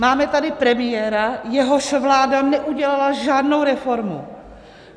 Máme tady premiéra, jehož vláda neudělala žádnou reformu.